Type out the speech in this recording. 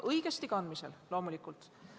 Õigesti kandmisel on maskist loomulikult kasu.